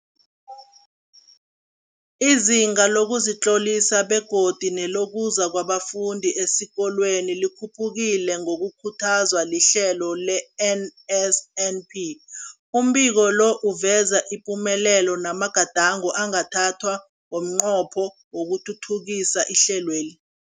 Izinga lokuzitlolisa begodu nelokuza kwabafundi esikolweni likhuphukile ngokukhuthazwa lihlelo le-NSNP. Umbiko lo uveza ipumelelo namagadango angathathwa ngomnqopho wokuthuthukisa ihlelweli.